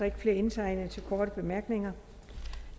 ikke flere indtegnet til korte bemærkninger